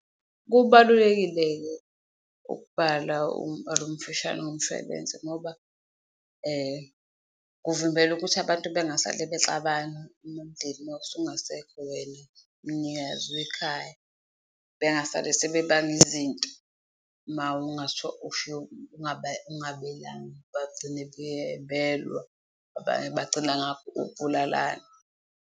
Kubalulekile-ke ukubala umbhalo omfushane womshwalense ngoba kuvimbela ukuthi abantu bengasale bexabana mawusungasekho wena mnikazi wekhaya, bengasale sebebanga izinto ungabelanga, bagcine belwa, abanye bagcina ngakho ukubulalana.